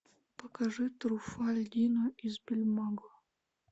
покажи труффальдино из бергамо